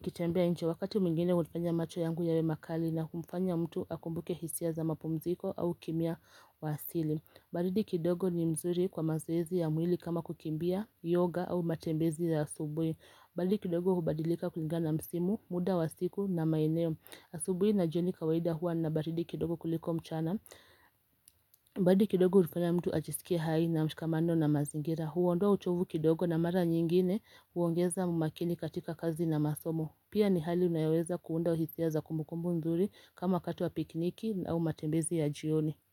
kitembea inche wakati mwingine hulifanya macho yangu yawe makali na kumfanya mtu akumbuke hisia za mapumziko au kimya wa asili baridi kidogo ni mzuri kwa mazoezi ya mwili kama kukimbia, yoga au matembezi ya asubui baridi kidogo hubadilika kulinga na msimu, muda wa siku na maineo asubui na jioni kawaida hua na baridi kidogo kuliko mchana baridi kidogo rifuna mtu ajisikia hai na mshikamando na mazingira Huondua uchovu kidogo na mara nyingine huongeza mmakini katika kazi na masomo Pia ni hali unayoweza kuunda hisia za kumukumbu mzuri kama kato wa pikniki au matembezi ya jioni.